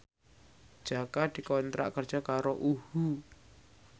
Jaka dikontrak kerja karo UHU